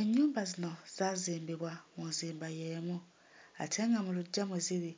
Ennyumba zino zaazimbibwa mu nzimba y'emu ate nga mu luggya mwe ziri